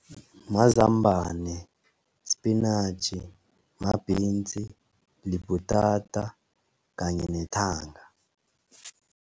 Mazambana, sipinatjhi, ma-beans, libhutata kanye nethanga.